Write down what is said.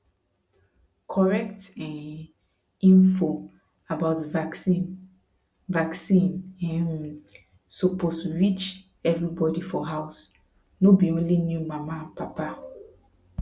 correct um info about vaccine vaccine um suppose reach everybody for house no be only new mama and papa